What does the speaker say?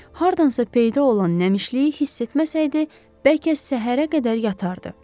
Hardansa peyda olan nəmişliyi hiss etməsəydi, bəlkə səhərə qədər yatardı.